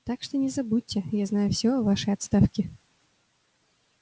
так что не забудьте я знаю всё о вашей отставке